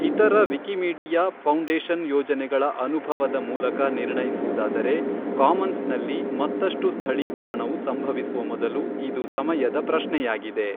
ಇತರ Wikimedia foundation ಯೋಜನೆಗಳ ಅನುಭವದ ಮೂಲಕ ನಿರ್ಣಯಿಸುವುದಾದರೆ, ಕಾಮನ್ಸ್ನಲ್ಲಿ ಮತ್ತಷ್ಟು ಸ್ಥಳೀಕರಣವು ಸಂಭವಿಸುವ ಮೊದಲು ಇದು ಸಮಯದ ಪ್ರಶ್ನೆಯಾಗಿದೆ.